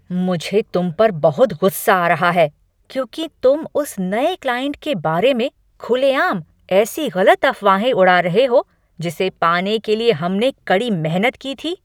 मुझे तुम पर बहुत गुस्सा आ रहा है क्योंकि तुम उस नए क्लाइंट के बारे में खुले आम ऐसी गलत अफवाहें उड़ा रहे हो जिसे पाने के लिए हमने कड़ी मेहनत की थी।